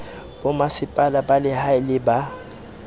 bomasepala ba lehae le ba